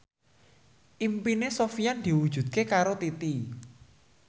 impine Sofyan diwujudke karo Titi